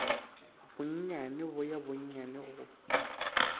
bonnyane bo ya bonnyane go